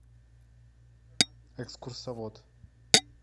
экскурсовод